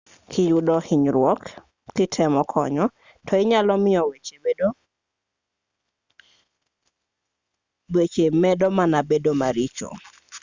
kiyudo hunyruok kitemo konyo to inyalo miyo weche medo mana bedo maricho